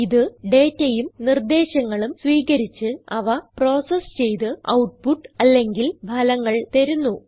ഇത് dataഉം നിർദേശങ്ങളും വീകരിച്ച് അവ പ്രോസസ് ചെയ്ത് ഔട്ട്പുട്ട് അല്ലെങ്കിൽ ഫലങ്ങൾ തരുന്നു